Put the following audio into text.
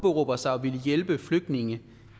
linje